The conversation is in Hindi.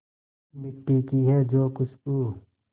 मिट्टी की है जो खुशबू